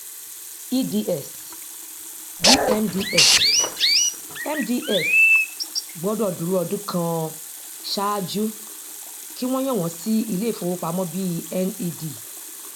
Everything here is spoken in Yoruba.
eds dmds mds gbọdọ dúró ọdún kan ṣáájú kí wọn yàn wọn sí ilé ìfowópamọ bí ned